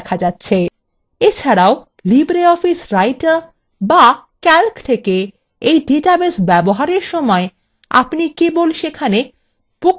এছাড়াও libreoffice writer বা calc থেকে এই ডাটাবেস ব্যবহারের সময় আপনি table সেখানে books table দেখতে পাবেন